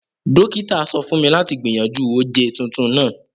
Dókítà sọ fún mi láti gbìyànjú oje tuntun náà